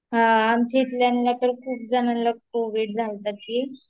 हा, आमच्या इथल्याना तर खूप जणांला कोविड झालता की